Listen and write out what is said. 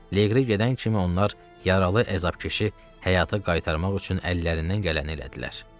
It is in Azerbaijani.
Leqri gedən kimi onlar yaralı, əzabkeşi həyata qaytarmaq üçün əllərindən gələni elədilər.